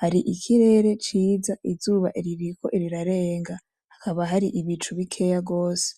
hari ikirere ciza izuba ririko rirarenga hakaba hari ibicu bikeya gose.